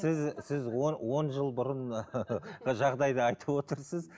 сіз сіз он жыл бұрын жағдайды айтып отырсыз